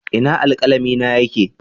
Ina alkalami na yake?